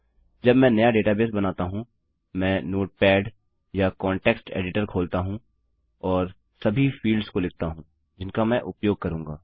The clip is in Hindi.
जब मैं नया डेटाबेस बनाता हूँ मैं नोटपेड या कॉन्टेक्स्ट एडिटर खोलता हूँ और सभी फील्ड्स को लिखता हूँ जिनका मैं उपयोग करूँगा